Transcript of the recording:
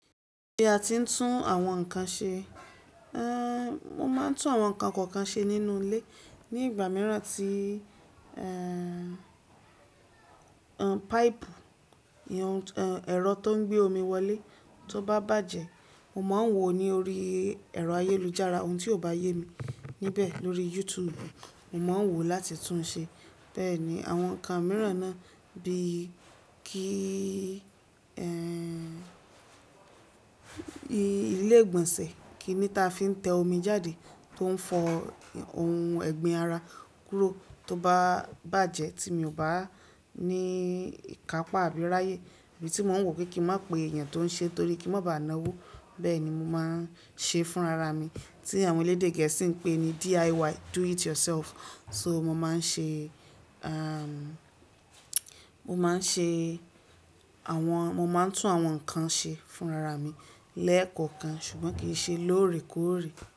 Bi a ti ń tún àwọn nǹkan ṣe. Ehn, mo máa ń tún àwọn nǹkan kọ̀ọ̀kan ṣe nínú ilé. Ni ìgbà mìíràn tí, ehn, ehn, páìpù, ìyen, ehn, ẹ̀rọ tó ń gbé omi wọlé tó bá bàjẹ́, mo máa ń wò ó ní orí ẹ̀rọ ayélujára, ohun tí ó bá yé mi níbẹ̀ lórí YouTube, mo máa wò ó láti tún un ṣe. Bẹ́ẹ̀ ni àwọn nǹkan mìíràn náà bíi kí, ehn, ilé ìgbọ̀nsẹ̀ kí ni ta fi ń tẹ omi jáde tó ń fọ ohun ẹ̀gbin ara kúrò tó bá bàjẹ́ tí mi ò bá ní ìkápá àbí ráyè, ibi tí mò ń wò kí kí mọ pé èèyàn tó ń ṣe torí kí n má bàá náwó. Bẹ́ẹ̀ ni mo máa ń ṣe fúnra ra mi tí àwọn elédè gẹ̀ẹ́sì ń pè ní DIY, do it yourself. So mo máa ń ṣe, ehn, mo máa ń ṣe àwọn-- mo máa ń tún àwọn nǹkan ṣe fúnra ra mi lẹ́ẹ̀kọ̀ọ̀kan ṣùgbọ́n kì í ṣe lóòrèkóòrè.